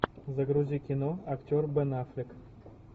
загрузи кино актер бен аффлек